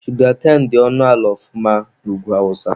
Shugakain dị ọnụ ala ọfụma na Ugwu awụsa.